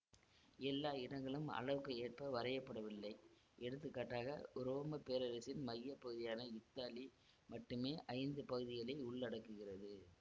எல்லா இடங்களும் அளவுக்கு ஏற்ப வரையப்படவில்லை எடுத்துக்காட்டாக உரோமை பேரரசின் மையப்பகுதியான இத்தாலி மட்டுமே ஐந்து பகுதிகளை உள்ளடக்குகிறது